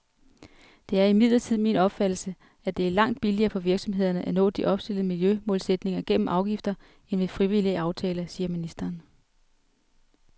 Det er imidlertid min opfattelse, at det er langt billigere for virksomhederne at nå de opstillede miljømålsætninger gennem afgifter end ved frivillige aftaler, siger ministeren.